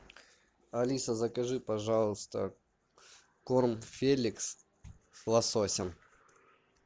алиса закажи пожалуйста корм феликс с лососем